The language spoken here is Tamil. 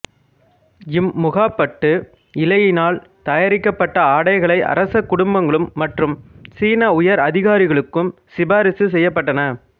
இம் முகாப்பட்டு இழையினால் தயாரிக்கப்பட்ட ஆடைகளை அரச குடும்பங்களும் மற்றும் சீன உயர் அதிகாரிகளுக்கும் சிபாரிசு செய்யப்பட்டன